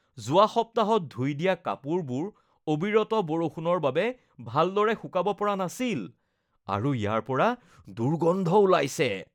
যোৱা সপ্তাহত ধুই দিয়া কাপোৰবোৰ অবিৰত বৰষুণৰ বাবে ভালদৰে শুকাব পৰা নাছিল আৰু ইয়াৰ পৰা দুৰ্গন্ধ ওলাইছে।